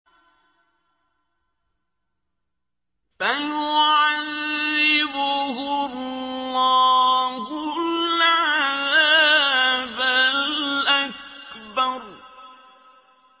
فَيُعَذِّبُهُ اللَّهُ الْعَذَابَ الْأَكْبَرَ